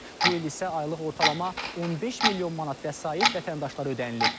Bu il isə aylıq ortalama 15 milyon manat vəsait vətəndaşlara ödənilib.